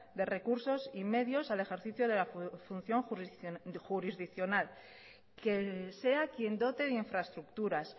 de recursos y medios al ejercicio de la función jurisdiccional que sea quien dote de infraestructuras